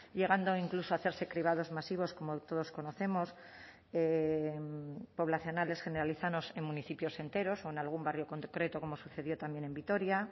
llegando incluso a hacerse cribados masivos como todos conocemos poblacionales generalizados en municipios enteros o en algún barrio concreto como sucedió también en vitoria